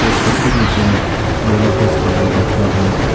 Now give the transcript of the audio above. उसका ठीक नीचे मे योनो कैश का बोर्ड लटका हुआ है।